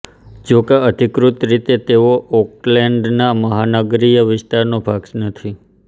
જોકે અધિકૃત રીતે તેઓ ઓકલેન્ડના મહાનગરીય વિસ્તારોનો ભાગ નથી